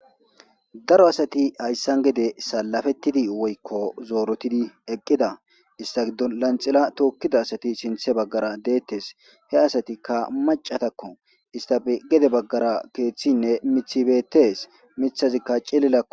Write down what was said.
daro asati hayssan gede salafettidi woykko zoorotidi eqqida ista giddo lanxila tookkida asati sinthe baggara deettes he asatikka macatakko istaf gede baggara keeththinne mithibeetees mithazikka cillilakko